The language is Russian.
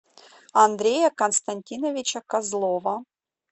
андрея константиновича козлова